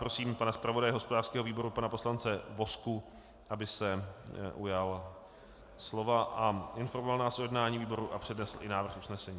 Prosím pana zpravodaje hospodářského výboru, pana poslance Vozku, aby se ujal slova a informoval nás o jednání výboru a přednesl i návrh usnesení.